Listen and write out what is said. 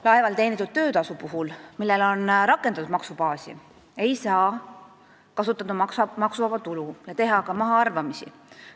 Laeval teenitud töötasu puhul, millele on rakendatud maksubaasi, ei saa arvestada maksuvaba tulu ega teha ka mahaarvamisi.